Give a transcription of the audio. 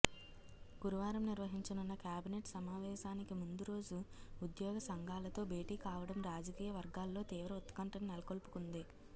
గురువారం నిర్వహించనున్న క్యాబినేట్ సమావేశానికి ముందు రోజు ఉద్యోగ సంఘాలతో భేటీ కావడం రాజకీయ వర్గాల్లో తీవ్ర ఉత్కంఠను నెలకొల్పుతుంది